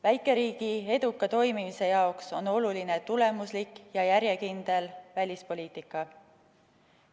Väikeriigi eduka toimimise jaoks on oluline tulemuslik ja järjekindel välispoliitika.